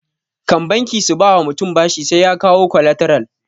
Kan banki su ba wa mutum bashi sai ya kawo kwalataral